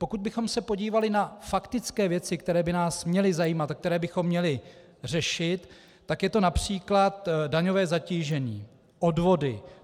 Pokud bychom se podívali na faktické věci, které by nás měly zajímat a které bychom měli řešit, tak je to například daňové zatížení, odvody.